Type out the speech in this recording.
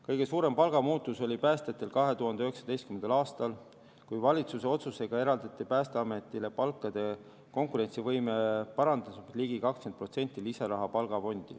Kõige suurem palgamuutus oli päästjatel 2019. aastal, kui valitsuse otsusega eraldati Päästeametile palkade konkurentsivõime parandamiseks palgafondi ligi 20% lisaraha.